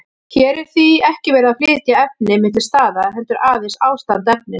Hér er því ekki verið að flytja efni milli staða, heldur aðeins ástand efnis.